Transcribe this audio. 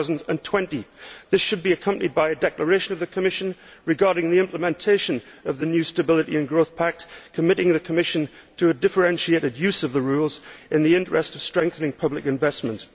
2020. This should be accompanied by a declaration by the Commission regarding the implementation of the new Stability and Growth Pact committing the Commission to a differentiated use of the rules in the interest of strengthening public investment.